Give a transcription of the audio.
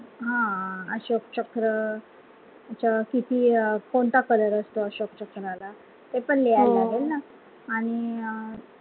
हा अशोक चक्र त्याचा वर किती अं कोणता color असतो अशोक चक्राळ ते पण लिहायला लागेल ना आणि अं